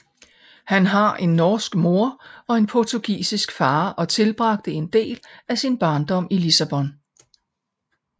Han har en norsk mor og en portugisisk far og tilbragte en del af sin barndom i Lissabon